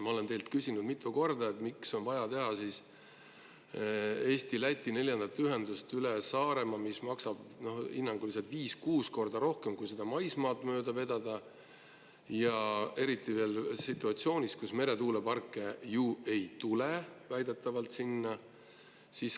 Ma olen teilt küsinud mitu korda, miks on vaja teha Eesti-Läti neljandat ühendust üle Saaremaa, mis maksab hinnanguliselt viis-kuus korda rohkem, kui maksaks selle maismaad mööda vedamine, eriti veel situatsioonis, kus meretuuleparke sinna väidetavalt ei tule.